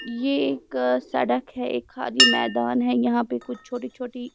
ये एक सड़क है एक खाली मैदान है यहां पे कुछ छोटी-छोटी।